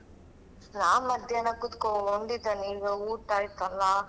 ನಾ ಮಧ್ಯಾಹ್ನ ಕೂತ್ಕೊಂಡಿದೇನೆ ಈಗ ಊಟ ಆಯಿತಲ್ಲಾ.